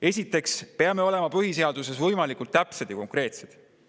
Esiteks peame olema põhiseaduses võimalikult täpsed ja konkreetsed.